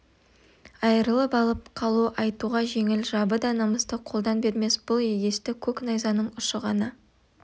айырып алып қалу айтуға жеңіл жабы да намысты қолдан бермес бұл егесті көк найзаның ұшы ғана